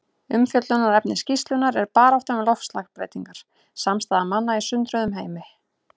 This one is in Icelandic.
Umfjöllunarefni skýrslunnar er Baráttan við loftslagsbreytingar: Samstaða manna í sundruðum heimi.